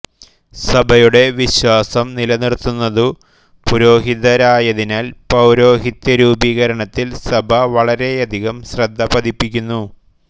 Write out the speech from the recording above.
സഭയുടെ വിശ്വാസം നിലനിർത്തുന്നതു പുരോഹിതരായതിനാൽ പൌരോഹിത്യരൂപീകരണത്തിൽ സഭ വളരെയധികം ശ്രദ്ധ പതിപ്പിക്കുന്നു